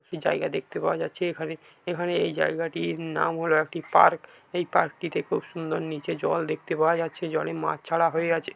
জায়গা দেখতে পাওয়া যাচ্ছে এখানে এখানে এই জায়গাটির নাম হল একটি পার্ক | এই পার্ক টিতে খুব সুন্দর নীচে জল দেখতে পাওয়া যাচ্ছে জলে মাছ ছাড়া হয়ে আছে |